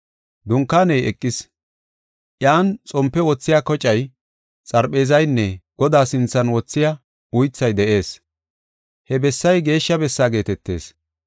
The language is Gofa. Dunkaaney eqis. Iyan xompe wothiya kocay, xarpheezaynne Godaa sinthan wothiya uythay de7ees; he bessay Geeshsha Bessaa geetetees.